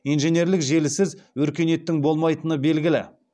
инженерлік желісіз өркениеттің болмаи тыны белгілі